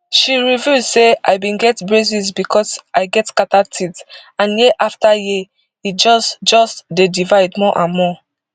she reveal say i bin get braces becos i get scattered teeth and year afta year e just just dey divide more and more